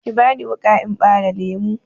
Ki bani wuƙa in ɓare lemu!